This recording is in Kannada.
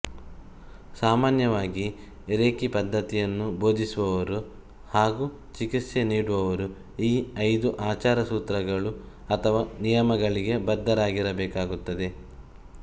ಸಾಮಾನ್ಯವಾಗಿ ರೇಖಿ ಪದ್ಧತಿಯನ್ನು ಬೋಧಿಸುವವರು ಹಾಗು ಚಿಕಿತ್ಸೆ ನೀಡುವವರು ಈ ಐದು ಆಚಾರ ಸೂತ್ರಗಳು ಅಥವಾ ನಿಯಮಗಳಿಗೆ ಬದ್ಧರಾಗಿರಬೇಕಾಗುತ್ತದೆ